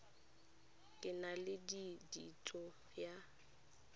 ke na le kitso ya